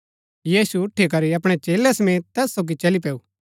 यीशु उठी करी अपणै चेलै समेत तैस सोगी चली पैऊ